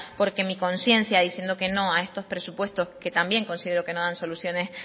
porque mi conciencia diciendo que no a estos presupuestos que también considero que no dan soluciones